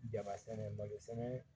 Jaba sɛnɛ malo sɛnɛ